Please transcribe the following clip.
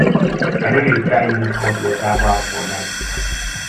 i no dey try use hot water baff for night